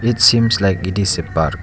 It seems like it is a park.